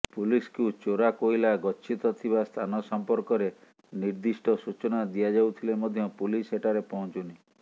ପୁଲିସକୁ ଚୋରା କୋଇଲା ଗଛିତ ଥିବା ସ୍ଥାନ ସମ୍ପର୍କରେ ନିର୍ଦ୍ଦିଷ୍ଟ ସୂଚନା ଦିଆଯାଉଥିଲେ ମଧ୍ୟ ପୁଲିସ ସେଠାରେ ପହଞ୍ଚୁନି